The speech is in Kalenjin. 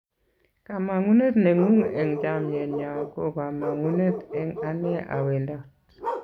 kamangunet nengung eng chamiet nyo ko kamangunet eng ane a wendat